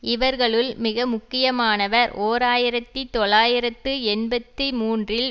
இவர்களுள் மிக முக்கியமானவர் ஓர் ஆயிரத்தி தொள்ளாயிரத்து எண்பத்தி மூன்றில்